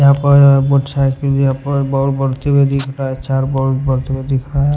यहां पर मोटरसाइकिल यहां पर बॉल बढ़ते हुए दिख रहा है चार बॉल बढ़ते हुए दिख रहा है।